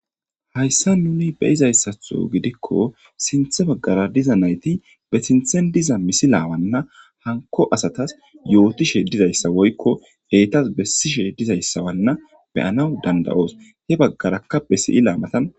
Hayssa nuni be izayssatho gidikko sinthe baggara diza nayti be sinthen diza misi laawanna hanko asatas yootishe dizayssa woykko eetas bessishe dizayssawanna beyanaw danda'oos he baggarakka besiyi laamatan.